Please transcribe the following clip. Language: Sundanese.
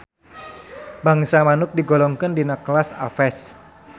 Bangsa manuk digolongkeun dina kelas Aves